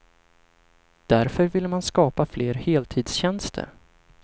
Därför vill man skapa fler heltidstjänster.